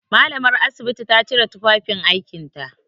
Mallamar asibiti ta cire tufafin aikinta.